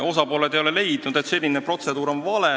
Osapooled ei ole leidnud, et senine protseduur on vale.